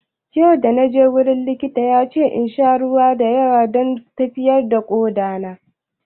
Yau da naje gurin likita ya ce insha ruwa da yawa don lafiyar koɗa na